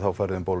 farið um